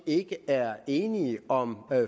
ikke er enige om